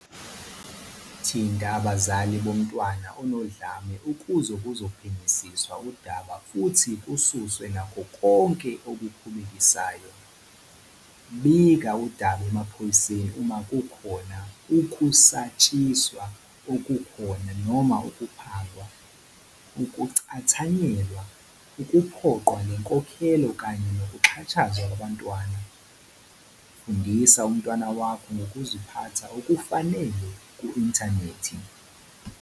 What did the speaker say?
Thinta abazali bomntwana onodlame ukuze kuzophenyisiswa udaba futhi kususwe nakho konke okukhubekisayo. Bika udaba emaphoyiseni uma kukhona ukusatshiswa okukhona noma ukuphangwa, ukucathanyelwa, ukuphoqwa ngenkokhelo kanye nokuxhashazwa kwabantwana. Fundisa umntwana wakho ngokuziphatha okufanele ku-inthanethi.